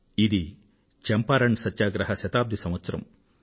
ఇది చంపారణ్ సత్యాగ్రహ శతాబ్ది సంవత్సరం